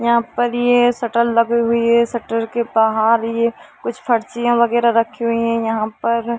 यहाँ पर ये शटर लगी हुई है शटर के बाहर ये कुछ फर्जिया - वगेरा रखी हुई है यहाँ पर --